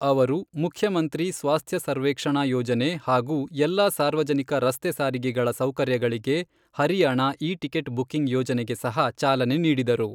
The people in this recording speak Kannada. ಅವರು ಮುಖ್ಯಮಂತ್ರಿ ಸ್ವಾಸ್ಥ್ಯಸರ್ವೆಕ್ಷಣಾ ಯೋಜನೆ ಹಾಗು ಎಲ್ಲ ಸಾರ್ವಜನಿಕ ರಸ್ತೆ ಸಾರಿಗೆಗಳ ಸೌಕರ್ಯಗಳಿಗೆ ಹರಿಯಾಣ ಇ ಟಿಕೆಟ್ ಬುಕ್ಕಿಂಗ್ ಯೋಜನೆಗೆ ಸಹ ಚಾಲನೆ ನೀಡಿದರು.